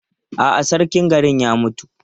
A'a, sarkin garin ya mutu.